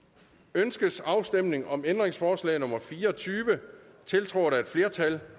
ønskes afstemning om ændringsforslag nummer fire og tyve tiltrådt af et flertal